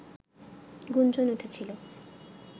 গুঞ্জন উঠেছিল